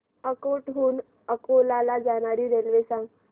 अकोट हून अकोला ला जाणारी रेल्वे सांग